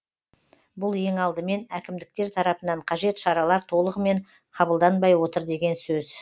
бұл ең алдымен әкімдіктер тарапынан қажет шаралар толығымен қабылданбай отыр деген сөз